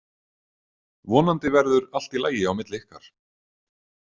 Vonandi verður allt í lagi á milli ykkar.